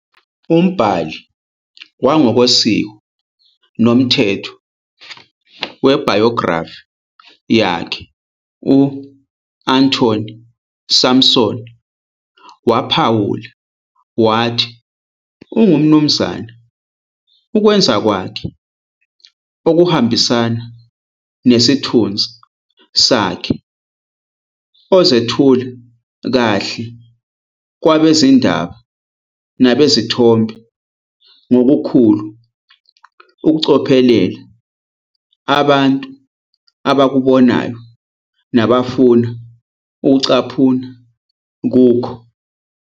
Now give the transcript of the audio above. Umbhali wangokosiko nomthetho webhayografi yakhe u-Anthony Sampson, waphawula wathi, ungumnumzane ukwenza kwakhe okuhambisana nesithunzi sakhe, ozethula kahle kwabezindaba nabezithombe ngokukhulu ukucophelela abantu abakubonayo nabafuna ukucaphuna kukho.